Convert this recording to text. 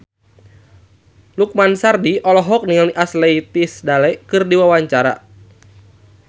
Lukman Sardi olohok ningali Ashley Tisdale keur diwawancara